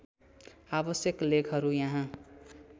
आवश्यक लेखहरू यहाँ